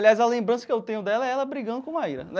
Aliás, a lembrança que eu tenho dela é ela brigando com Maíra né.